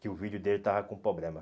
Que o vídeo dele estava com problema.